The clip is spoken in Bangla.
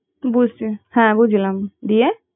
বুঝছি হ্যাঁ বুঝলাম দিয়ে